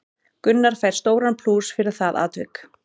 Gunnar fær stóran plús fyrir það atvik.